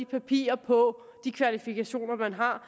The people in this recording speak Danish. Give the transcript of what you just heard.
papirer på de kvalifikationer man har